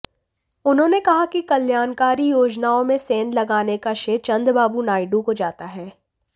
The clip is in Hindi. उन्होंने कहा कि कल्याणकारी योजनाओं में सेंध लगाने का श्रेय चंद्रबाबू नायुडू को जाता है